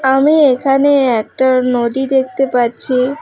আমি এখানে একটা নদী দেখতে পাচ্ছি।